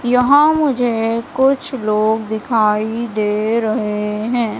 यहां मुझे कुछ लोग दिखाई दे रहे हैं।